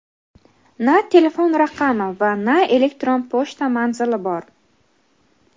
na telefon raqami va na elektron pochta manzili bor.